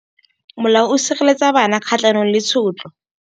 Molao o sireletsa bana kgatlhanong le tshotlo.